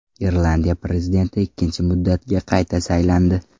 Irlandiya prezidenti ikkinchi muddatga qayta saylandi.